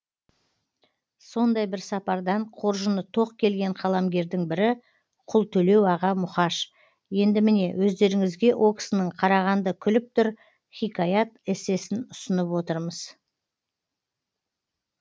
сондай бір сапардан қоржыны тоқ келген қаламгердің бірі құлтөлеу аға мұқаш енді міне өздеріңізге о кісінің қарағанды күліп тұр хикаят эссесін ұсынып отырмыз